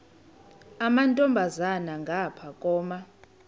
amantombazana ngapha koma